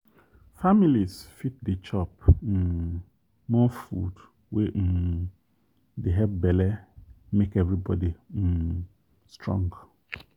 families fit dey chop um more food wey um dey help belle make everybody um strong.